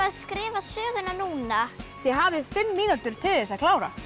skrifa söguna núna þið hafið fimm mínútur til þess að klára